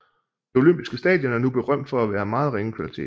Det olympiske stadion er nu berømt for at være af meget ringe kvalitet